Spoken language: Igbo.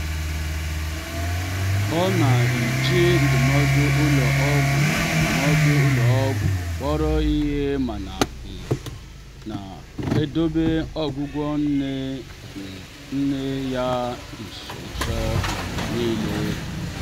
ọ na-eji ndụmọdụ ụlọ ọgwụ ndụmọdụ ụlọ ọgwụ kpọrọ ihe mana ọ um na-edobe ọgwụgwọ nne um nne ya nso mgbe niile.